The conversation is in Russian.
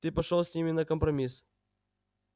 ты пошёл с ними на компромисс